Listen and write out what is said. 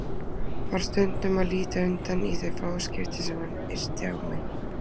Varð stundum að líta undan í þau fáu skipti sem hann yrti á mig.